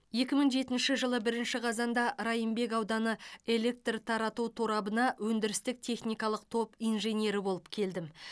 екі мың жетінші жылы бірінші қазанда райымбек ауданы электр тарату торабына өндірістік техникалық топ инженері болып келдім